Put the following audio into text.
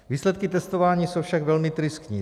Výsledky testování jsou však velmi tristní.